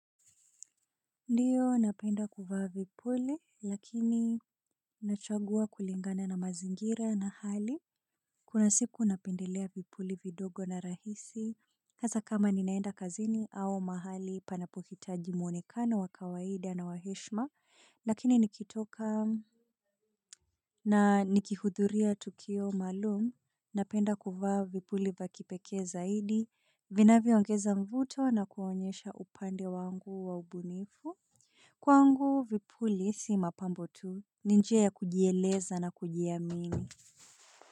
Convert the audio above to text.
Ndiyo, napenda kuvaa vipuli, lakini nachagua kulingana na mazingira na hali. Kuna siku napendela vipuli vidogo na rahisi hasa kama ninaenda kazini au mahali panapohitaji mwonekano wa kawaida na wa heshima, lakini nikitoka na nikihudhuria tukio maalum. Napenda kuvaa vipuli vya kipekee zaidi vinavyoongeza mvuto na kuonyesha upande wangu wa ubunifu kwangu vipuli si mapambo tu ni njia ya kujieleza na kujiamini.